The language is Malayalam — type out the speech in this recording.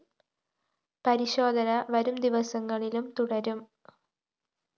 പരിശോധന വരും ദിവസങ്ങളിലും തുടരും